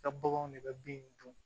I ka baganw de bɛ bin in dun